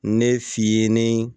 Ne fiyɛ ni